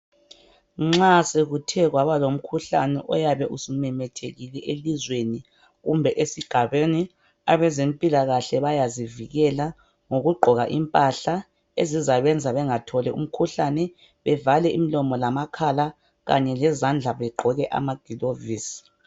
Nxa sekuthe kwaba lomkhuhlane oyabe usumemethekile elizweni kumbe esigabeni abezempilakahle bayazivikela ngokugqoka impahla ezizabenza bengatholi umkhuhlane bevale imlomo lamakhala Kanye lezandla begqoke ama gilovisi .